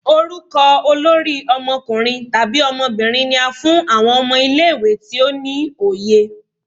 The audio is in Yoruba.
Orukọ olori ọmọkunrin tabi ọmọbirin ni á fún awọn ọmọ ile-iwe ti o ni oye.